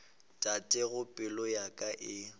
tatago pelo ya ka e